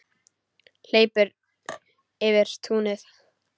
Hleypur yfir túnið.